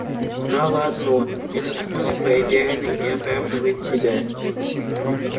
знала одно это способ проверенный и оправдывает себя